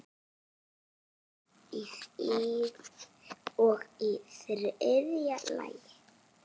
Og í þriðja lagi.